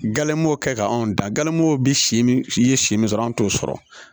Gale m'o kɛ ka anw dan galimow bi si min i ye si min sɔrɔ an t'o sɔrɔ